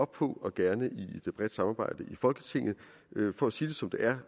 på og gerne i et bredt samarbejde i folketinget for at sige det som det er